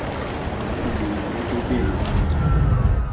ho phumula le ho bentsha